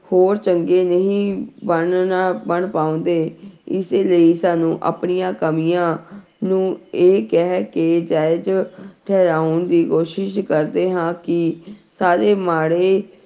ਹੋਰ ਚੰਗੇ ਨਹੀਂ ਬਣਨਾ ਬਣ ਪਾਉਂਦੇ ਇਸੇ ਲਈ ਸਾਨੂੰ ਆਪਣੀਆਂ ਕਮੀਆਂ ਨੂੰ ਇਹ ਕਹਿ ਕੇ ਜਾਇਜ਼ ਠਹਿਰਾਉਣ ਦੀ ਕੋਸ਼ਿਸ਼ ਕਰਦੇ ਹਾਂ ਕਿ ਸਾਰੇ ਮਾੜੇ